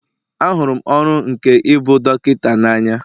Ahụrụ m ọrụ m nke ịbụ dọkịta n'anya